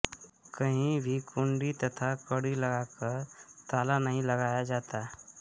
कहीं भी कुंडी तथा कड़ी लगाकर ताला नहीं लगाया जाता